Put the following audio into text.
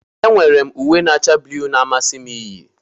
Enwere m uwe na-acha blu na-amasị m iyi